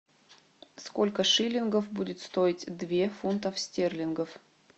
сколько шиллингов будет стоить две фунтов стерлингов